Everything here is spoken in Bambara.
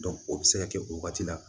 o bɛ se ka kɛ o wagati la